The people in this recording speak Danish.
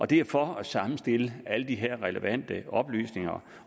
det er for at sammenstille alle de her relevante oplysninger